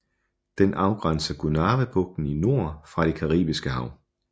Den afgrænser Gonâvebugten i nord fra det caribiske hav